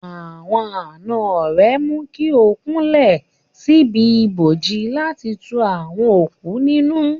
Àwọn àna rẹ̀ mú kí ó kúnlẹ̀ síbi ibojì láti tu àwọn òkú nínú.